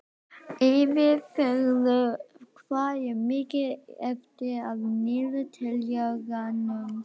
Eyfríður, hvað er mikið eftir af niðurteljaranum?